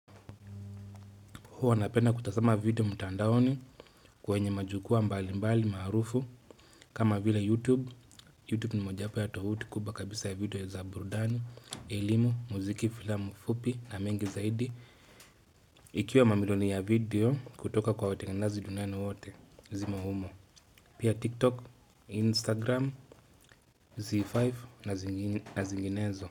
Huwa napenda kutazama video mtandaoni kwenye majukwaa mbali mbali maarufu kama vile YouTube YouTube ni mojawapo ya tovuti kubwa kabisa ya video ya za burdani, elimu, muziki, filamu, fupi na mengi zaidi Ikiwa mamilioni ya video kutoka kwa watengenaji dunani wote zimo humo Pia TikTok, Instagram, Z5 na zinginezo.